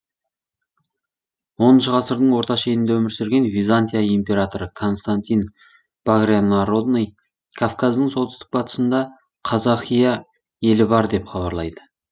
оныншы ғасырдың орта шенінде өмір сүрген византия императоры константин багрянородный кавказдың солтүстік батысында казахия елі бар деп хабарлайды